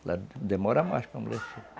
Ela demora mais para amolecer.